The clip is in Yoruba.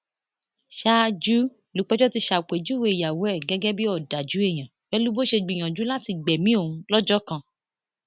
ṣáájú lúpẹjọ ti ṣàpèjúwe ìyàwó ẹ gẹgẹ bíi ọdájú èèyàn pẹlú bó ṣe gbìyànjú láti gbẹmí òun lọjọ kan